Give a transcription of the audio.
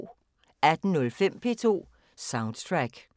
18:05: P2 Soundtrack